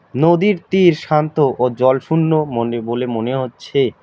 নদীর তীর শান্ত ও জলশূন্য মনে বলে মনে হচ্ছে।